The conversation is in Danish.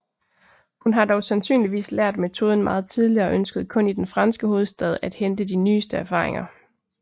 Hun har dog sandsynligvis lært metoden meget tidligere og ønskede kun i den franske hovedstad at hente de nyeste erfaringer